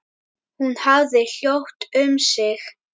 Hún hafði hljótt um sig.